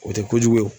O tɛ kojugu ye